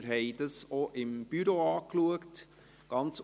Wir haben dies auch im Büro angeschaut.